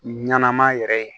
Ɲɛnama yɛrɛ ye